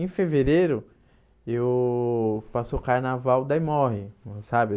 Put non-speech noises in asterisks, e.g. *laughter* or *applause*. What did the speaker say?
Em fevereiro, eu passo o carnaval, daí morre, *unintelligible* sabe?